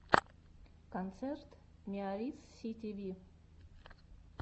концерт миарисситиви